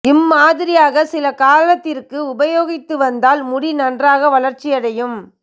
இம் மாதிரியாக சில காலத்திற்கு உபயோகித்து வந்தால் முடி நன்றாக வளர்ச்சி அடையும்